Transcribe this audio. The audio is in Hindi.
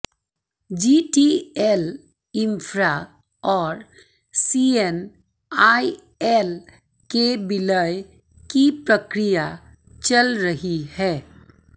जीटीएल इंफ्रा और सीएनआईएल के विलय की प्रक्रिया चल रही है